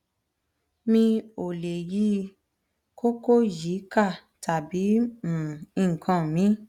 mi ò lè yí um koko yìí ká tàbí um nǹkan míì